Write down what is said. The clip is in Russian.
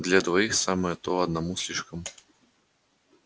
для двоих самое то одному слишком